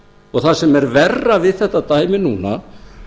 og það sem er herra við þetta dæmi núna